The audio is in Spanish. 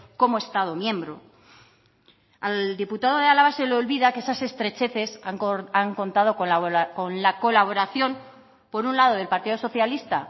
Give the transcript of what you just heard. como estado miembro al diputado de álava se le olvida que esas estrecheces han contado con la colaboración por un lado del partido socialista